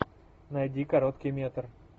найди короткий метр